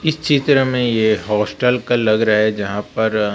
इस चित्र में ये हॉस्टल का लग रहा है जहां पर--